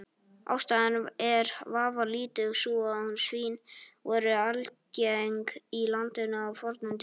Ástæðan er vafalítið sú að svín voru algeng í landinu á fornum tíma.